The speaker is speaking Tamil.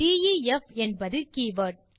டெஃப் என்பது ஒரு கீவர்ட்